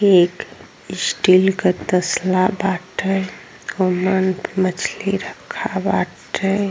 एक स्टील क तसला बाटे। ओमन मछली रखा बाटे।